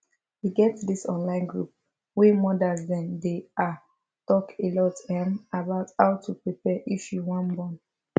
e get this online group wey modas them dey ah talk alot ehm about how to prepare if you wan born